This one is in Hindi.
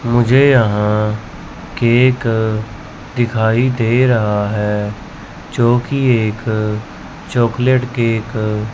मुझे यहां केक दिखाई दे रहा है जो की एक चॉकलेट केक --